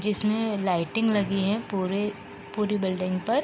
जिसमें लाइटिंग लगी है पुरे पूरी बिल्डिंग पर।